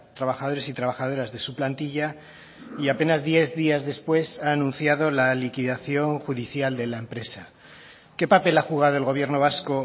trabajadores y trabajadoras de su plantilla y apenas diez días después ha anunciado la liquidación judicial de la empresa qué papel ha jugado el gobierno vasco